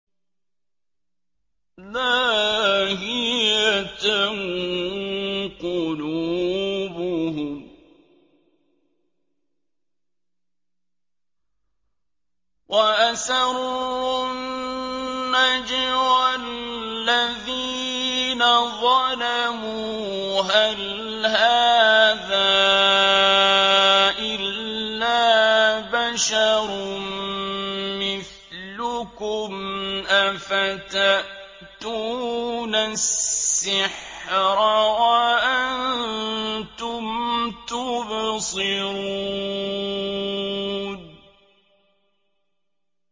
لَاهِيَةً قُلُوبُهُمْ ۗ وَأَسَرُّوا النَّجْوَى الَّذِينَ ظَلَمُوا هَلْ هَٰذَا إِلَّا بَشَرٌ مِّثْلُكُمْ ۖ أَفَتَأْتُونَ السِّحْرَ وَأَنتُمْ تُبْصِرُونَ